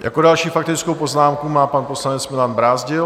Jako další faktickou poznámku má pan poslanec Milan Brázdil.